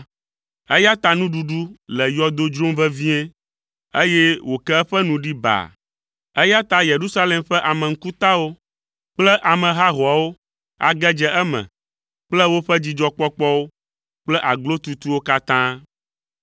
Eya ta nuɖuɖu le yɔdo dzrom vevie, eye wòke eƒe nu ɖi baa, eya ta Yerusalem ƒe ame ŋkutawo kple ame hahoawo age dze eme kple woƒe dzidzɔkpɔkpɔwo kple aglotutuwo katã.